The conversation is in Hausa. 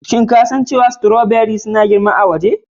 Shin ka san cewa stoberis suna girma iri a waje?